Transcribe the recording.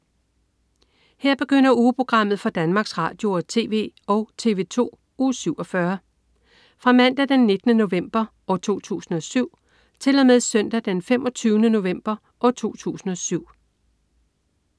Her begynder ugeprogrammet for Danmarks Radio- og TV og TV2 Uge 47 Fra Mandag den 19. november 2007 Til Søndag den 25. november 2007